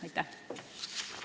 Aitäh!